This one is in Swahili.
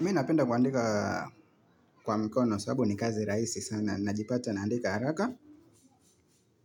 Mena penda kuandika kwa mikono, sababu ni kazi raisi sana, najipata naandika haraka.